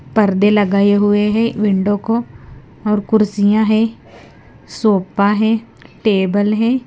पर्दे लगाए हुए हैं विंडो को और कुर्सियां हैं सोफा है टेबल है।